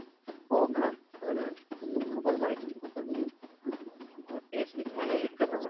हो का अर खूच वाट ईं खू पच